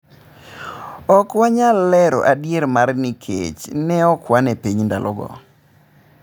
Ok wanyal lero adiera mare nikech ne okwan e piny ndalo go